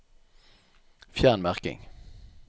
Fjern merking